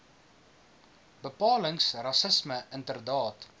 bepalings rassisme inderdaad